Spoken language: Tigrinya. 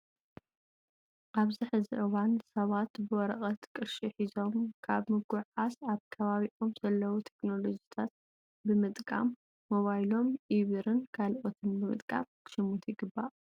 ኣብዚ ሕዚ እዋን ሰባት ብወረቀት ቅርሺ ሒዞም ካብ ምጉዕዓዝ ኣብ ከባቢኦም ዘለው ቴክኖሎጅታት ብምጥቃም ብሞባይሎም ኢ ብርን ካልኦትን ብምጥቃም ክሽምቱ ይግባእ።